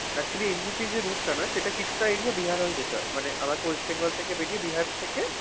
actually NVP যে rout টা না সেটা কিছুটা area বিহার হয়ে যেতো। মানে আমাকে ওয়েস্ট বেঙ্গল থেকে বেরিয়ে বিহার থেকে